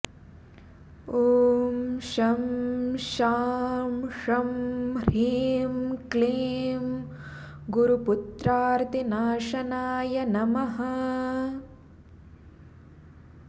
ॐ शं शां षं ह्रीं क्लीं गुरुपुत्रार्तिनाशनाय नमः